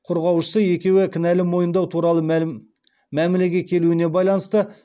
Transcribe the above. қорғаушысы екеуі кінәні мойындау туралы мәмілеге келуіне байланысты